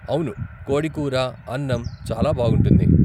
అవును కోడి కూర, అన్నం చాలా బాగుంటుంది.